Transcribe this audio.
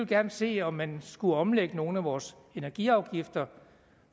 gerne se om man skulle omlægge nogle af vores energiafgifter